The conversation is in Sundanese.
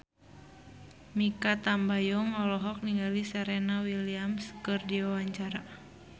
Mikha Tambayong olohok ningali Serena Williams keur diwawancara